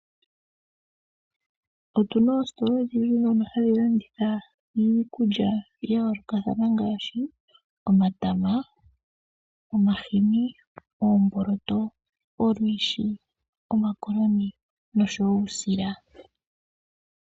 Otuna oositola odhindji dhono hadhi landitha iikulya yayoolokathana ngaashi: omatama, omahini , oomboloto, olwiishi, omakoloni nosho woo uushila.